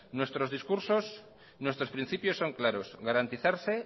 nuestros discursos nuestros principios son claros garantizarse